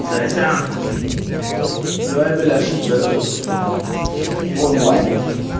сосян давай бляшки готовить в онлайн